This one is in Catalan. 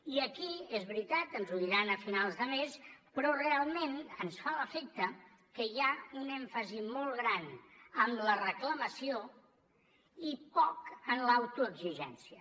i aquí és veritat ens ho diran a finals de mes però realment ens fa l’efecte que hi ha un èmfasi molt gran en la reclamació i poc en l’autoexigència